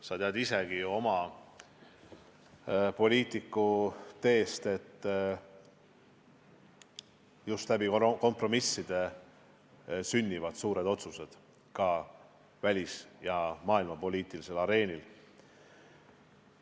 Sa tead ju tänu omagi poliitikuteele, et just kompromisside abil sünnivad suured otsused, ka välis- ja maailmapoliitilisel areenil.